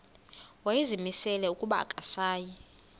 wayezimisele ukuba akasayi